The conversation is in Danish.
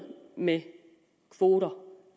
med kvoter